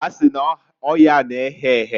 Ha si n'oyaa na-ehe ehe."